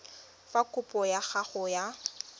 fa kopo ya gago ya